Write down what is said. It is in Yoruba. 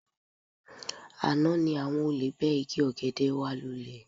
Àná ni àwọn olè bẹ́ igi ọ̀gẹ̀dẹ̀ wa lúlẹ